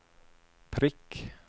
prikk